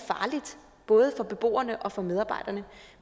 både beboerne og medarbejderne